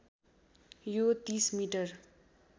यो ३० मिटर